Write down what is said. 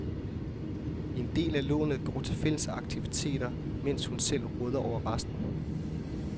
En del af lånet går til fælles aktiviteter, mens hun selv råder over resten.